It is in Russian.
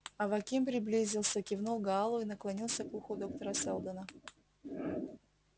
аваким приблизился кивнул гаалу и наклонился к уху доктора сэлдона